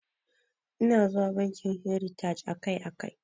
Ina zuwa bankin heritaj akai akai.